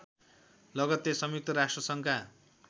लगत्तै संयुक्त राष्ट्र सङ्घका